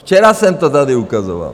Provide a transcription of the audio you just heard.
Včera jsem to tady ukazoval.